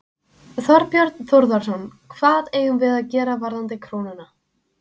Þorbjörn Þórðarson: Hvað eigum við að gera varðandi krónuna?